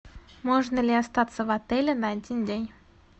можно ли остаться в отеле на один день